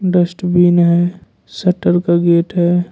Dustbin है shutter का gate है।